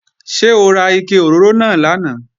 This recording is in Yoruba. Ṣé ó ra ike òróró náà lánàá?